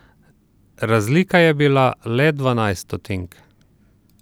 Razlika je bila le dvanajst stotink.